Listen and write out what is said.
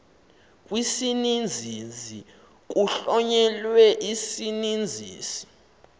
kwisininzi kuhlonyelwe isininzisi